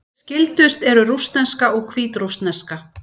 Skyldust eru rússneska og hvítrússneska.